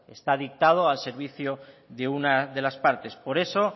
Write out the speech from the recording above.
está dictado al servicio de una de las partes por eso